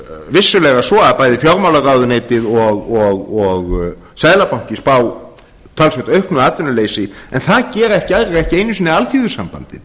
vissulega svo að bæði fjármálaráðuneytið og seðlabanki spá talsvert auknu atvinnuleysi en það gera ekki aðrir ekki einu sinni alþýðusambandið